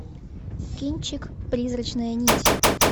кинчик призрачная нить